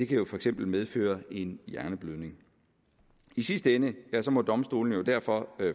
jo for eksempel medføre en hjerneblødning i sidste ende må domstolene jo derfor